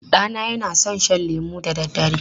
Ɗana yana son shan lemu da dare.